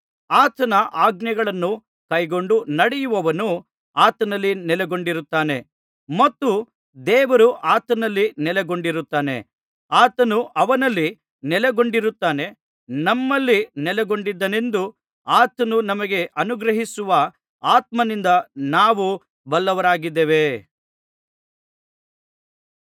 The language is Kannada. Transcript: ಆತನ ಆಜ್ಞೆಗಳನ್ನು ಕೈಕೊಂಡು ನಡೆಯುವವನು ಆತನಲ್ಲಿ ನೆಲೆಗೊಂಡಿರುತ್ತಾನೆ ಮತ್ತು ದೇವರು ಆತನಲ್ಲಿ ನೆಲೆಗೊಂಡಿರುತ್ತಾನೆ ಆತನು ಅವನಲ್ಲಿ ನೆಲೆಗೊಂಡಿರುತ್ತಾನೆ ನಮ್ಮಲ್ಲಿ ನೆಲೆಗೊಂಡಿದ್ದಾನೆಂದು ಆತನು ನಮಗೆ ಅನುಗ್ರಹಿಸಿರುವ ಆತ್ಮನಿಂದ ನಾವು ಬಲ್ಲವರಾಗಿದ್ದೇವೆ